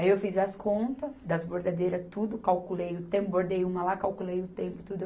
Aí, eu fiz as contas das bordadeiras, tudo, calculei o tempo, bordei uma lá, calculei o tempo, tudo.